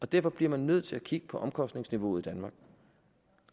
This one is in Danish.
derfor bliver man nødt til at kigge på omkostningsniveauet i danmark